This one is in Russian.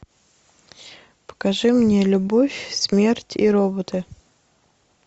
покажи мне любовь смерть и роботы